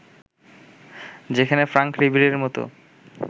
যেখানে ফ্রাঙ্ক রিবেরির মতো